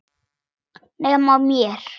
Nema mér.